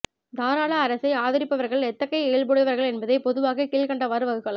தாராள அரசை ஆதரிப்பவர்கள் எத்தகைய இயல்புடையவர்கள் என்பதை பொதுவாக கீழ்க்கண்டவாறு வகுக்கலாம்